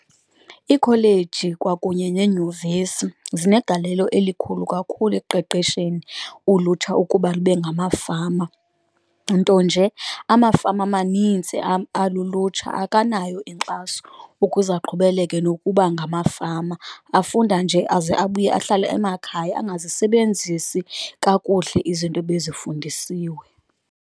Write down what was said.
Iikholeji kwakunye neenyuvesi zinegalelo elikhulu kakhulu ekuqeqesheni ulutsha ukuba lube ngamafama, nto nje amafama amanintsi alulutsha akanayo inkxaso ukuze aqhubeleke nokuba ngamafama, afunda nje aze abuye ahlale emakhaya angazisebenzisi kakuhle izinto ebezifundisiwe.